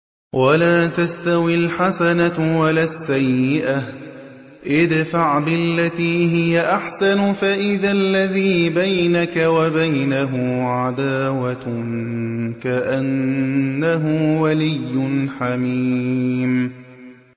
وَلَا تَسْتَوِي الْحَسَنَةُ وَلَا السَّيِّئَةُ ۚ ادْفَعْ بِالَّتِي هِيَ أَحْسَنُ فَإِذَا الَّذِي بَيْنَكَ وَبَيْنَهُ عَدَاوَةٌ كَأَنَّهُ وَلِيٌّ حَمِيمٌ